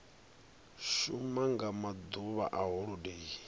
shuma nga maḓuvha a holodeni